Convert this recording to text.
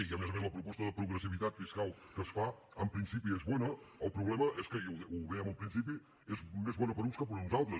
i a més a més la proposta de progressivitat fiscal que es fa en principi és bona el problema és que i ho dèiem al principi és més bona per a uns que per a uns altres